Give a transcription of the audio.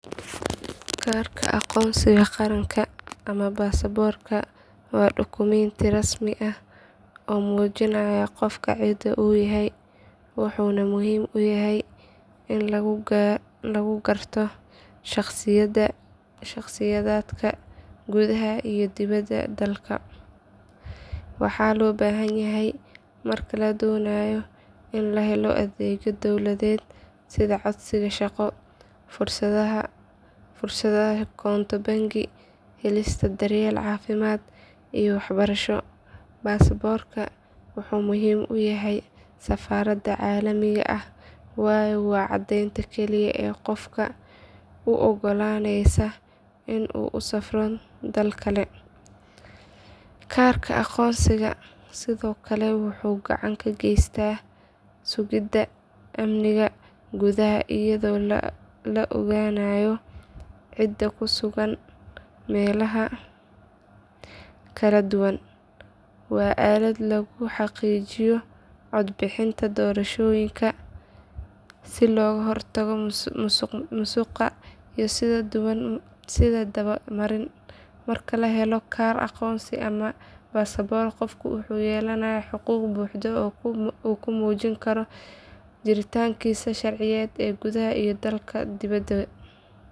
Kaarka aqoonsiga qaranka ama baasaboorka waa dukumiinti rasmi ah oo muujinaya qofka cida uu yahay wuxuuna muhiim u yahay in lagu garto shakhsiyaadka gudaha iyo dibadda dalka. Waxaa loo baahan yahay marka la doonayo in la helo adeegyo dowladeed sida codsiga shaqo, furashada koonto bangi, helista daryeel caafimaad iyo waxbarasho. Baasaboorku wuxuu muhiim u yahay safarada caalamiga ah waayo waa caddeynta keliya ee qofka u oggolaaneysa inuu u safro dal kale. Kaarka aqoonsiga sidoo kale wuxuu gacan ka geystaa sugidda amniga gudaha iyadoo la ogaanayo cidda ku sugan meelaha kala duwan. Waa aalad lagu xaqiijiyo cod bixinta doorashooyinka si looga hortago musuq iyo is daba marin. Marka la helo kaar aqoonsi ama baasaboorka qofku wuxuu yeelanayaa xuquuq buuxda oo uu ku muujin karo jiritaankiisa sharciyeed ee gudaha iyo dibadda dalka.